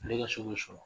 Ne ka so bɛ sɔrɔ